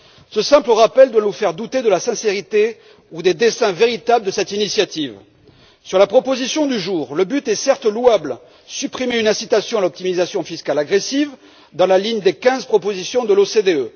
Ce simple rappel doit nous faire douter de la sincérité ou des desseins véritables de cette initiative. Sur la proposition du jour, le but est certes louable supprimer une incitation à l'optimisation fiscale agressive, dans la ligne des quinze propositions de l'OCDE.